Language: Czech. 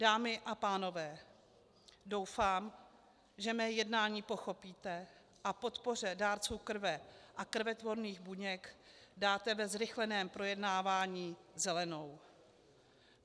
Dámy a pánové, doufám, že mé jednání pochopíte a podpoře dárců krve a krvetvorných buněk dáte ve zrychleném projednávání zelenou.